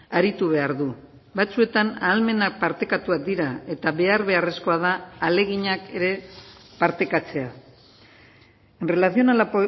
aritu behar du batzuetan ahalmena partekatuak dira eta behar beharrezkoa da ahaleginak ere partekatzea en relación a la